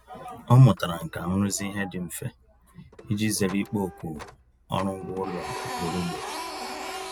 Ọ mụtara nkà nrụzi ihe dị mfe iji zere ịkpọ oku ọrụ ngwa ụlọ ugboro ugboro.